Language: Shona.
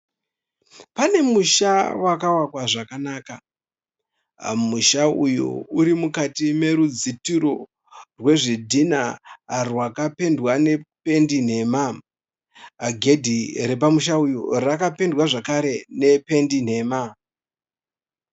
Pane musha wakavakwa zvakanaka. Musha uyu uri mukati merudzitiro rwezvidhinha rwakapendwa nependi nhema. Gedhi repamusha uyu rakapendwa zvekare nependi nhema.